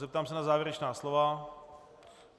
Zeptám se na závěrečná slova.